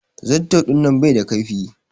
Zarto dinnan bai da ƙaifi.